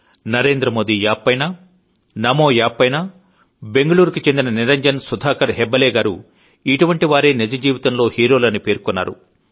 Narendra Modi app పైన నమో app పైన బెంగుళూరుకు చెందిన నిరంజన్ సుధాకర్ హెబ్బాలే గారు ఇటువంటి వారే నిజజీవితంలో హీరోలని పేర్కొన్నారు